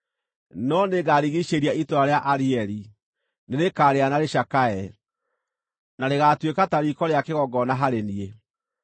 No nĩngarigiicĩria itũũra rĩa Arieli; nĩrĩkarĩra na rĩcakaye, na rĩgaatuĩka ta riiko rĩa kĩgongona harĩ niĩ.